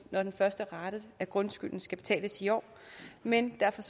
når den første rate af grundskylden skal betales i år men derfor